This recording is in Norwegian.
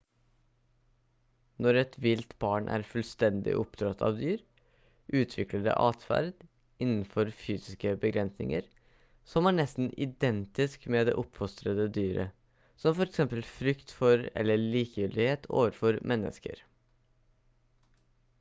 når et vilt barn er fullstendig oppdratt av dyr utvikler det atferd innenfor fysiske begrensninger som er nesten identisk med det oppfostrende dyret som for eksempel frykt for eller likegyldighet overfor mennesker